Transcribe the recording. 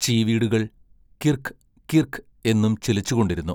ചീവീടുകൾ കിർക്ക്, കിർക്ക് എന്നും ചിലച്ചുകൊണ്ടിരുന്നു.